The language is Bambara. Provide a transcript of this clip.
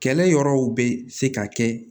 Kɛlɛ yɔrɔw bɛ se ka kɛ